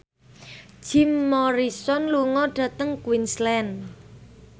Jim Morrison lunga dhateng Queensland